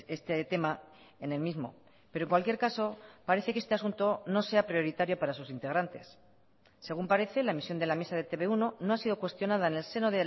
este tema en el mismo pero en cualquier caso parece que este asunto no sea prioritario para sus integrantes según parece la emisión de la misa de e te be uno no ha sido cuestionada en el seno